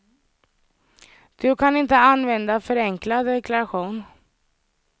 Du kan inte använda förenklad deklaration.